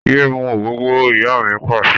Yé mú ògógóró! Ìyá mi Pàṣẹ.